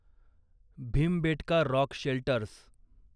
Bhimbetka rock shelters